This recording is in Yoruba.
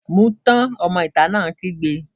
Mu ún tán! Ọmọ ìta náà kígbe.